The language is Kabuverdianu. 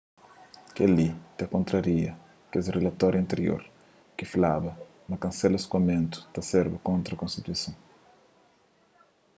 kel-li ta kontraria kes rilatoriu antirior ki flaba ma kansela skoamentu ta serba kontra konstituison